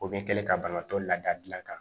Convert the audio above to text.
O bɛ kɛlɛ ka banabaatɔ lada dilan